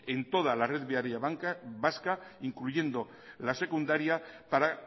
en toda la red viaria vasca incluyendo la secundaria para